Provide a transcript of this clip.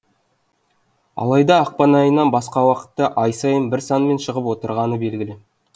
алайда ақпан айынан басқа уақытта ай сайын бір санмен шығып отырғаны белгілі